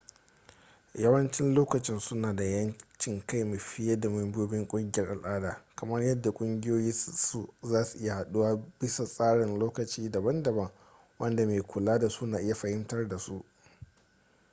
yawancin lokaci suna da 'yancin kai fiye da membobin ƙungiyar al'ada kamar yadda kungiyoyin su zasu iya haduwa bisa tsarin lokaci daban-daban wanda mai kula da su na iya fahimtar da su